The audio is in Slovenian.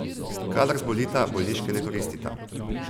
Kadar zbolita, bolniške ne koristita.